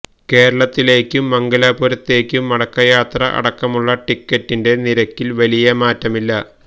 കേരളത്തിലേക്കും മംഗലാപുരത്തേക്കും മടക്കയാത്ര അടക്കമുള്ള ടിക്കറ്റിന്റെ നിരക്കില് വലിയ മാറ്റമില്ല